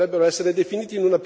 Le cose sono chiare.